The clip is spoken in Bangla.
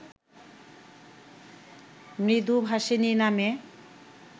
মৃদুভাষিণী নামে